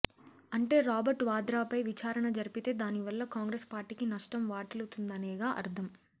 అంటే రాబర్ట్ వాద్రాపై విచారణ జరిపితే దానివల్ల కాంగ్రెస్ పార్టీకి నష్టం వాటిల్లుతుందనేగా అర్థం